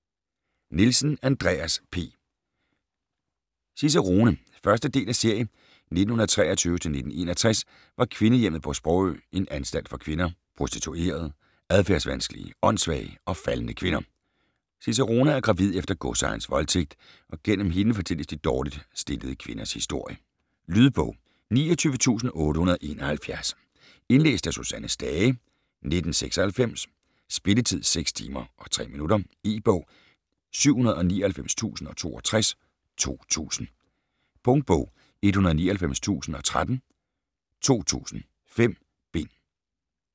Nielsen, Andreas P.: Cicerone 1. del af serie. 1923-1961 var Kvindehjemmet på Sprogø en anstalt for kvinder: prostituerede, adfærdsvanskelige, åndssvage og faldne kvinder. Cicerone er gravid efter godsejerens voldtægt, og gennem hende fortælles de dårligt stillede kvinders historie. Lydbog 29871 Indlæst af Susanne Stage, 1996. Spilletid: 6 timer, 3 minutter E-bog 799062 2000. Punktbog 199013 2000. 5 bind.